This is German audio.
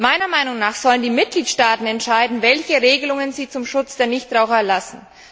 Meiner Meinung nach sollen die Mitgliedstaaten entscheiden, welche Regelungen sie zum Schutz der Nichtraucher erlassen.